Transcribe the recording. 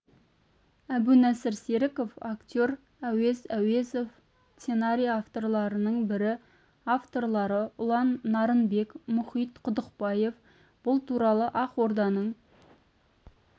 әбунасыр серіков актер әуез әуезов сценарий авторларының бірі авторлары ұлан нарынбек мұқит құдықбаев бұл туралы ақорданың